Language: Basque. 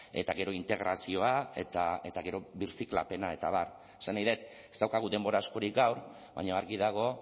eta gero integrazioa eta gero birziklapena eta abar esan nahi dut ez daukagu denbora askorik gaur baina argi dago